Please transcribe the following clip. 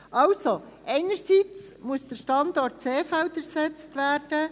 Also, einerseits muss der Standort Seefeld ersetzt werden.